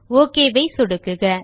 okay ஐ சொடுக்குக